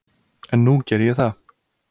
En nú geri ég það.